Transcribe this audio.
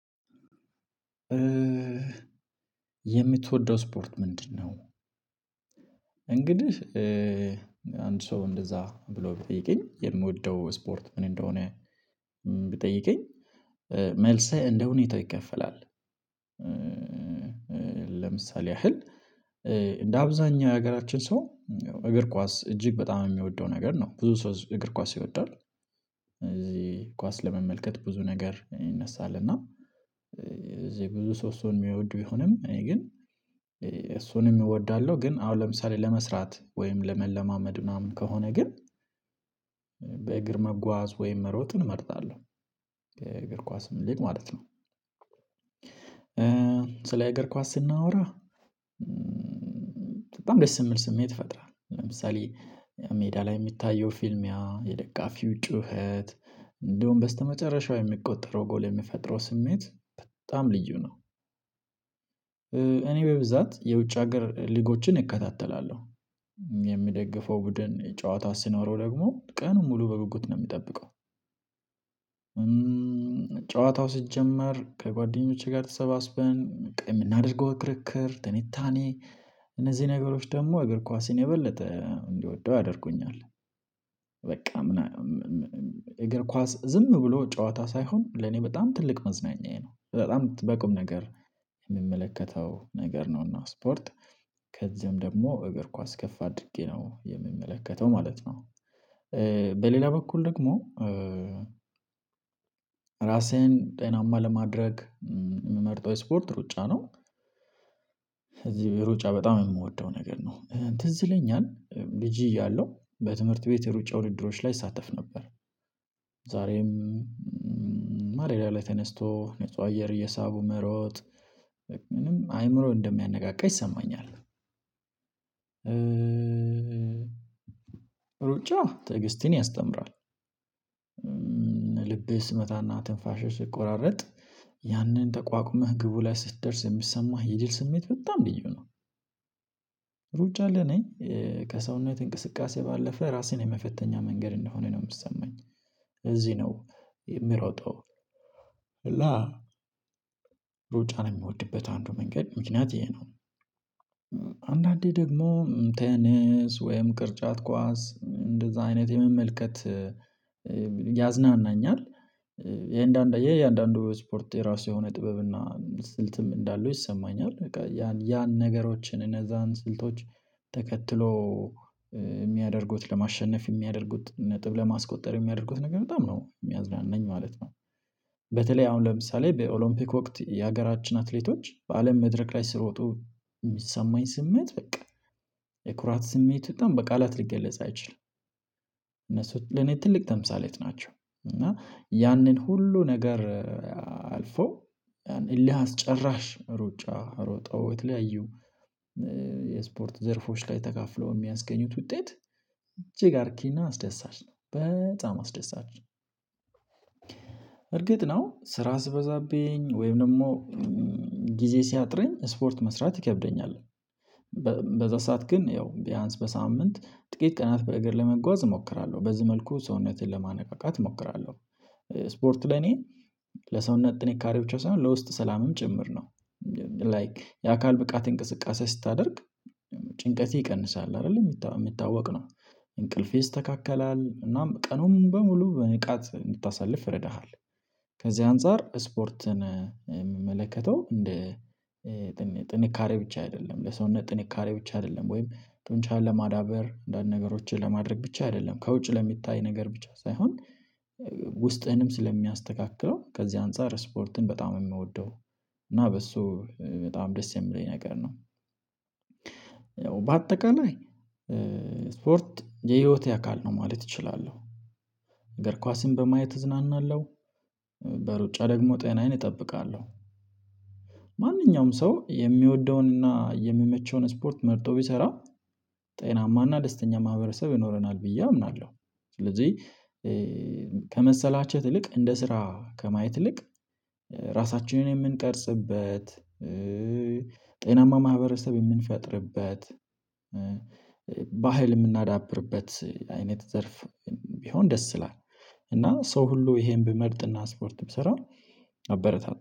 የምትወደው ስፖርት ምንድነው? እንግዲህ አንድ ሰው እንደዛ ብሎ ቢጠይቀኝ የምወደው ስፖርት ምን እንደሆነ ቢጠይቀኝ መልስህ እንደ ሁኔታው ይከፈላል። ለምሳሌ ያህል እንደ አብዛኛው የሀገራችን ሰው እግር ኳስ እጅግ በጣም የሚወደው ነገር ነው ብዙ ሰው እግር ኳስ ይወደዋል። እዚህ ኳስ ለመመልከት ብዙ ነገር ይነሳል እና እዚህ ብዙ ሰው እሱን የሚወዱ ቢሆንም እኔ ግን እሱንም እወዳለሁ ግን አሁን ለምሳሌ ለመስራት ወይም ለመለማመድ ምናምን ከሆነ ግን በእግር መጓዝ ወይም መሮጥ እንመርጣለሁ። እግርስ ኳስም ይልቅ ማለት ነው። ስለ እግር ኳስ ስናወራ በጣም ደስ የሚል ስሜት ይፈጥራ ለምሳሌ ሜዳ ላይ የሚታየው ፊልሚያ የደጋፊው ጩኸት እንደውም በስተመጨረሻው የሚቆጠረው ጎል የሚፈጥረው ስሜት በጣም ልዩ ነው። እኔ በብዛት የውጭ ሀገር ሊጎችን እከታተላለሁ የምደግፈው ቡድን የጨዋታው ሲኖረው ደግሞ ቀኑን ሙሉ በጉጉት ነው የምጠብቀው። ጨዋታው ሲጀመር ከጓደኞቼ ጋር ተሰባስበን በቃ የምናደርገው ክርክር ትንታኔ እነዚህ ነገሮች ደግሞ እግር ኳስን የበለጠ እንድወደው ያደርጉኛል። በቃ እግር ኳስ ዝም ብሎ ጨዋታ ሳይሆን ለኔ በጣም ትልቅ መዝናኛዬ ነው በጣም በቁም ነገር የምመለከተው ነገር ነውና ስፖርት ከዚያም ደግሞ እግር ኳስ ከፍ አድርጌ ነው የምመለከተው ማለት ነው። በሌላ በኩል ደግሞ ራሴን ጤናማ ለማድረግ የምመርጠው ስፖርት ሩጫ ነው። እዚህ ሩጫ በጣም የምወደው ነገር ነው ትዝ ለኛል ልጅ እያለሁ በትምህርት ቤት የሩጫ ውድድሮች ላይ እሳተፍ ነበር። ዛሬም ማለዳ ላይ ተነስቶ ንጹህ አየር እየሳቡ መሮጥ ምንም አይምሮ እንደሚያነቃቃ ይሰማኛል። ሩጫ ትዕግስትን ያስተምራል። ልብህ ስመታና ትንፋሽህ ሲቆራርጥ ያንን ተቋቁመህ ግቡ ላይ ስትደርስ የምትሰማህ የጅል ስሜት በጣም ልዩ ነው። ሩጫ ለኔ ከሰውነት እንቅስቃሴ ባለፈ ራሴን የመፈተኛ መንገድ እንደሆነ ነው የሚሰማኝ ለዚህ ነው የምሮጠው። እና ሩጫ ነው የሚወድበት አንዱ መንገድ ምክንያት ይሄ ነው። አንዳንዴ ደግሞ ተነስ ወይም ቅርጫት ኳስ እንደዛ አይነት የመመልከት ያዝናናኛል። የእያንዳንዱ ወይ ስፖርት የራሱ የሆነ ጥበብ እና ስልትም እንዳለው ይሰማኛል በቃ ያን ነገሮችን እነዛን ስልቶች ተከትሎ የሚያደርጉት ለማሸነፍ የሚያደርጉት ነጥብ ለማስቆጠር የሚያደርጉት ነገር በጣም ነው የሚያዝናናኝ ማለት ነው። በተለይ አሁን ለምሳሌ በኦሎምፒክ ወቅት የሀገራችን አትሌቶች በአለም መድረክ ላይ ሲሮጡ የሚሰማኝ ስሜት በቃ የኩራት ስሜት በጣም በቃላት ልትገለጽ አይችልም። እነሱ ለኔ ትልቅ ተምሳሌት ናቸው። እና ያንን ሁሉ ነገር አልፈው ያን እልህ አስጭራሽ ሩጫ ሮጠው የተለያዩ የስፖርት ዘርፎች ላይ ተካፍለው የሚያስገኙት ውጤት እጅግ አርኪና አስደሳች ነው በጣም አስደሳች። እርግጥ ነው ስራ ሲበዛብኝ ወይም ደግሞ ጊዜ ሲያጥረኝ ስፖርት መስራት ይከብደኛል። በዛ ሰዓት ግን ያው ቢያንስ በሳምንት ጥቂት ቀናት በእግር ለመጓዝ እሞክራለሁ በዚህ መልኩ ሰውነቴን ለማነቃቃት እሞክራለሁ። ስፖርት ለኔ ለሰውነት ጥንካሬ ብቻ ሳይሆን ለውስጥ ሰላምም ጭምር ነው። ላይክ የአካል ብቃት እንቅስቃሴ ስታደርግ ጭንቀቴ ይቀንሳል አይደለ የሚታወቅ ነው እንቅልፌ ይስተካከላል እናም ቀኑን በሙሉ በንቃት እንድታሳልፍ ይረዳሃል። ከዚህ አንፃር ስፖርትን የምመለከተው እንደ ጥንካሬ ብቻ አይደለም ለሰውነት ጥንካሬ ብቻ አይደለም ወይም ጡንቻህን ለማዳበር አንዳንድ ነገሮችን ለማድረግ ብቻ አይደለም ከውጭ ለሚታይ ነገር ብቻ ሳይሆን ውስጥህንም ስለሚያስተካክለው ከዚህ አንፃር ስፖርትን በጣም ነው የምወደው። እና በሱ በጣም ደስ የሚለኝ ነገር ነው። በአጠቃላይ ስፖርት የህይወቴ አካል ነው ማለት እችላለሁ። እግር ኳስን በማየት እዝናናለሁ። በሩጫ ደግሞ ጤናዬን እጠብቃለሁ። ማንኛውም ሰው የሚወደውንና የሚመቸውን ስፖርት መርጦ ቢሰራ ጤናማና ደስተኛ ማህበረሰብ ይኖረናል ብዬ አምናለሁ። ስለዚህ ከመሰላቸት ይልቅ እንደ ስራ ከማየት ይልቅ ራሳችንን የምንቀርጽበት ጤናማ ማህበረሰብ የምንፈጥርበት ባህል የምናዳብርበት አይነት ዘርፍ ቢሆን ደስ ይላል። እና ሰው ሁሉ ይሄን ቢመርጥና ስፖርት ቢሰራ አበረታታለሁ።